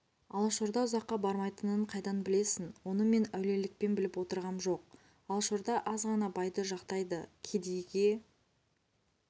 алашорда ұзаққа бармайтынын қайдан білесін оны мен әулиелікпен біліп отырғам жоқ алашорда азғана байды жақтайды кедейге